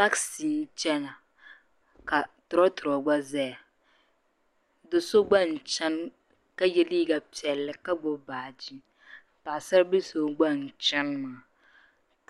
taksi n chana ka tro tro gba zaya do'so gba nchana ka ye liiga piɛlli ka gbubi baagi paɣa saribili so gba n chani maa